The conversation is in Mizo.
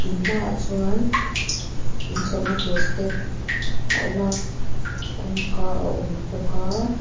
in hmaah chuan in chhohna tur step a awm a kawngka a awm bawk aaa.